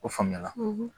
O faamu na